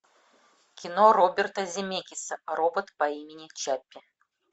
кино роберта земекиса робот по имени чаппи